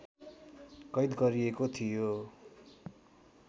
कैद गरिएको थियो